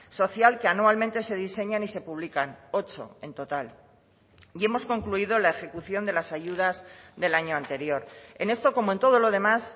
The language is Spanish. social que anualmente se diseñan y se publican ocho en total y hemos concluido la ejecución de las ayudas del año anterior en esto como en todo lo demás